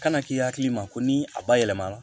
Kana k'i hakili ma ko ni a ba yɛlɛma la